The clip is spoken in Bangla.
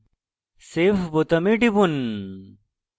save বোতামে টিপুন